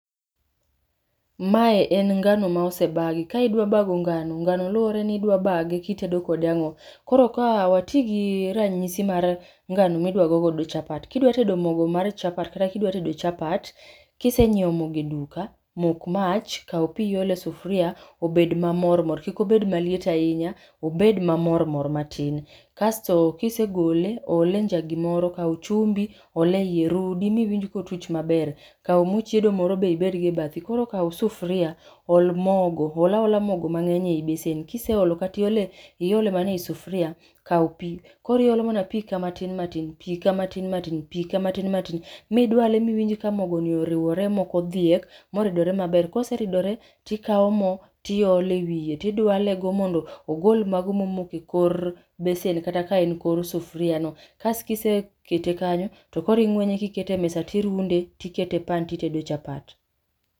Mae en ngano ma osebagi, ka idwa bago ngano, ngano luoreni idwa bage kitedo kode ang'o. Koro ka watigi ranyisi mar ngano midwa go godo chapat, kidwa tedo mogo mar chapat kata kidwa tedo chapat, kisenyiew mogo e duka, mok mach ,kao pii iol e sufria obed mamor mor kik obed maliet ahinya, obed mamor mor matin. Kasto kisegole, ole e njagi moro, kao chumbi, ol e iye, rudi miwinj ka otuch maber. Kao moo chiedo moro be ibedgo e bathi. Koro kao sufria ol mogo, ol aola mogo mangeny e besen, kiseolo kata iole e,iole mana e sufria, kao pii, koro iolo mana pii ka matin matin, piika marin matin, pii ka matin matin midwale miwinj ka mogo ni oriwore maok odhiek moridore maber, koseridore tikao moo tiole wiye tidwale go mondo ogol mago moko e kor besen kat ae kor sufria mo. Kas kisekete kanyo to koro ingwenye kikete e mesa tirunde tikete pan titedo chapat